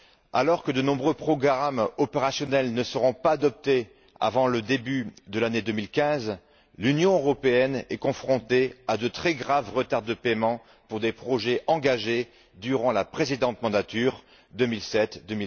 Alors que de nombreux programmes opérationnels ne seront pas adoptés avant le début de l'année 2015, l'Union européenne est confrontée à de très graves retards de paiement pour des projets engagés durant la précédente mandature de 2007à